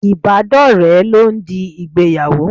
Ibadore lọ ń di ìgbéyàwó.